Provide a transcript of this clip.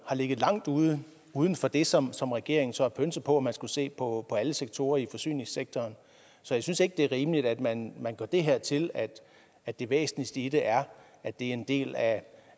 ligget langt uden uden for det som som regeringen så har pønset på at man skulle se på alle sektorer i forsyningssektoren så jeg synes ikke det er rimeligt at man gør det her til at at det væsentligste i det er at det er en del af